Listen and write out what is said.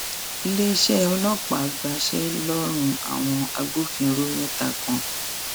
iléeṣẹ ọlọpàá gbaṣẹ lọrùn àwọn agbófinró mẹta kan